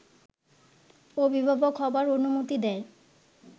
অভিভাবক হবার অনুমতি দেয়